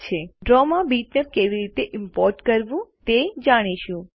હવે આપણે ડ્રોમાં બીટમેપ કેવી રીતે ઈમ્પોર્ટ કરવું તે જાણીશું